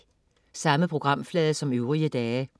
Samme programflade som øvrige dage